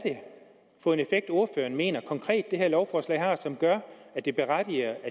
for en effekt ordføreren mener det her lovforslag konkret har som gør at det berettiger